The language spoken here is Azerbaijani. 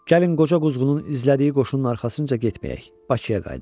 Gəlin qoca quzğunun izlədiyi qoşunun arxasınca getməyək.